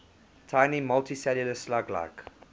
tiny multicellular slug like